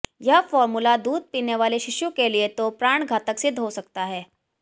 यह फॉर्मूला दूध पीने वाले शिशु के लिए तो प्राणघातक सिद्ध हो सकता है